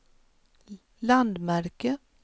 landmärke